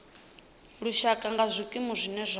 lushaka nga zwikimu zwine zwa